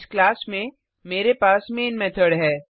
इस क्लास में मेरे पास मेन मेथड है